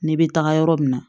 Ne bɛ taga yɔrɔ min na